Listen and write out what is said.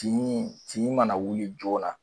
Tin tin mana wuli joona